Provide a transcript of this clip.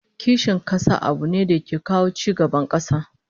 Kishin kasa abu ne da ke kawo ci gaban kasa